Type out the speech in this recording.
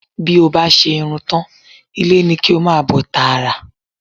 Bí o bá ṣe irun tán, ilé ni kí o máa bọ̀ tààrà